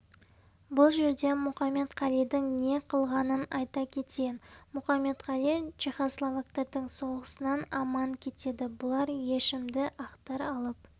бұл жерде мұқаметқалидың не қылғанын айта кетейін мұқаметқали чехословактардың соғысынан аман кетеді бұлар ешімді ақтар алып